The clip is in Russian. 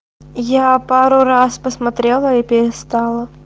я пару раз посмотрела и перестала